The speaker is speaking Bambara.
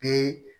Bi